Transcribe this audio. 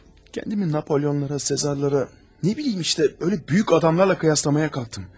Özümü Napoleonlara, Sezarlara, nə bilim, elə böyük adamlarla müqayisə etməyə çalışdım.